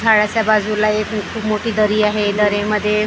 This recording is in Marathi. झाडाच्या बाजूला एक मोठी मोठी दरी आहे दरीमध्ये--